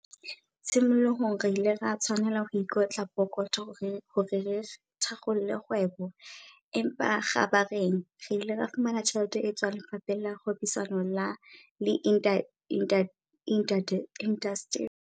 "Tshimolohong re ile ra tshwanela ho ikotla pokotho hore re thakgole kgwebo, empa kgabareng re ile ra fumana tjhelete e tswang Lefapheng la Kgwebisano le Indasteri, dti, ka BIS esita le Koporasi ya Ntshetsopele ya Diindasteri, IDC," o ekeditse ka ho rialo.